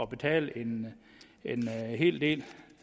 betale en hel del